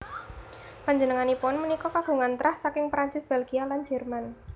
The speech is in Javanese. Panjenenganipun punika kagungan trah saking Prancis Bèlgia lan Jerman